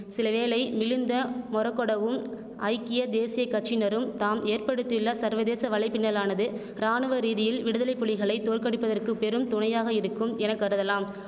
சிலவேளை மிலிந்த மொறகொடவும் ஐக்கிய தேசிய கட்சியினரும் தாம் ஏற்படுத்தியுள்ள சர்வதேச வலைப்பின்னலானது ராணுவ ரீதியில் விடுதலை புலிகளை தோற்கடிப்பதற்கு பெரும்துணையாக இருக்கும் என கருதலாம்